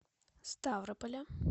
ставрополя